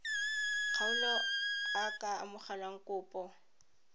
kgaolo a ka amogela kopo